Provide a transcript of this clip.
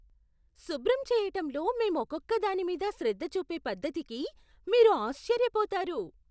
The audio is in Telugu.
శుభ్రం చేయటంలో మేం ఒక్కొక్క దాని మీద శ్రద్ధ చూపే పద్ధతికి మీరు ఆశ్చర్యపోతారు.